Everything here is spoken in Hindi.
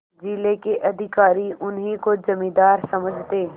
जिले के अधिकारी उन्हीं को जमींदार समझते